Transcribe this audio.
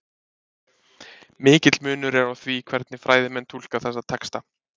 Mikill munur er á því hvernig fræðimenn túlka þessa texta.